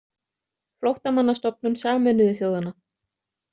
Flóttamannastofnun Sameinuðu þjóðanna.